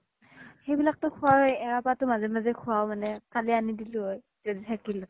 সেইবিলাকতো খুৱাওয়ে এৰা পাতও মাজে মাজে খুৱাও মানে কালি আনি দিলো হয় য্দি থাকিল হয়